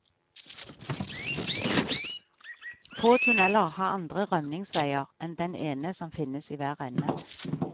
Få tunneler har andre rømningsveier enn den ene som finnes i hver ende.